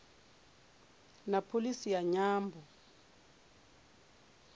na pholisi ya nyambo